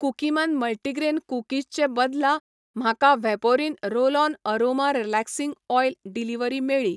Cookieman multigrain cookies चे बदला, म्हाका Vaporin roll on aroma relaxing oil delivery मेळ्ळी.